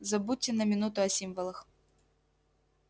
забудьте на минуту о символах